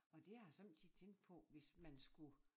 Og det har jeg sommetider tænkt på hvis man skulle